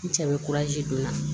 N cɛ bɛ don n na